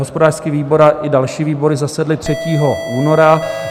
Hospodářský výbor i další výbory zasedly 3. února.